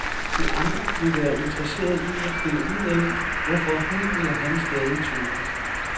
De andre vil være interesseret i at finde ud af, hvorfor hun eller han stadig tøver.